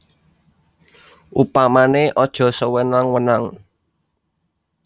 Upamané aja sewenang wenang